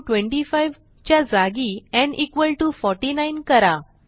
न् 25 च्या जागी न् 49 करा